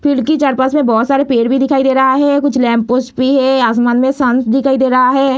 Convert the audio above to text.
Field की चार-पांच में बहुत सारे पेड़ भी दिखाई दे रहा है। कुछ लैंप पोस्ट भी है। आसमान में संस दिखाई दे रहा है।